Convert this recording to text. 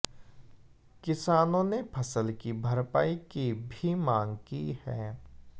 किसानों ने फसल की भरपाई की भी मांग की है